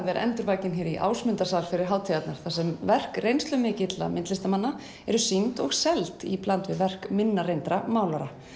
er endurvakin hérna í Ásmundarsafni fyrir hátíðarnar þar sem verk reynslumikilla listamanna eru sýnd og seld í bland við verk minna reyndra málara